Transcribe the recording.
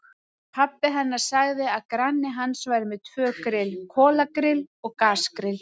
Pabbi hennar sagði að granni hans væri með tvö grill, kolagrill og gasgrill.